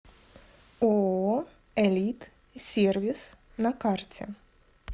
ооо элит сервис на карте